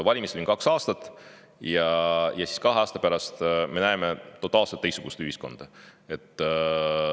Valimisteni on kaks aastat ja kahe aasta pärast me näeme totaalselt teistsugust ühiskonda.